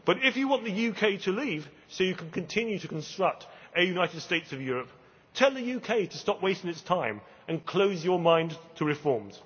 But if you want the UK to leave so you can continue to construct a United States of Europe, tell the UK to stop wasting its time and close your mind to reforms.